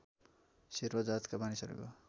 शेर्पा जातका मानिसहरूको